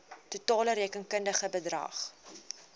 totale rekenkundige bedrag